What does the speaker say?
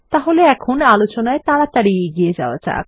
তাহলে এখন আলোচনায় তাড়াতাড়ি এগিয়ে যাওয়া যাক